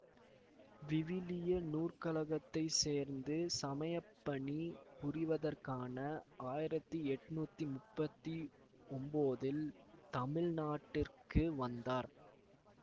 விவிலிய நூற்கழகத்தைச் சேர்ந்து சமயப்பணி புரிவதற்காக ஆயிரத்தி எட்ணூத்தி முப்பத்தி ஒம்போதில் தமிழ் நாட்டிற்கு வந்தார்